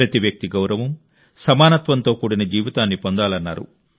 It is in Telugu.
ప్రతి వ్యక్తి గౌరవం సమానత్వంతో కూడిన జీవితాన్ని పొందాలన్నారు